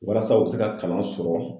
Walasa u bɛ se ka kalan sɔrɔ